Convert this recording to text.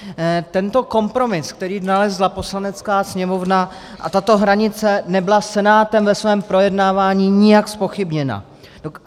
Tento kompromis, který nalezla Poslanecká sněmovna, a tato hranice nebyla Senátem ve svém projednávání nijak zpochybněna.